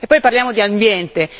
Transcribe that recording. E poi parliamo di ambiente.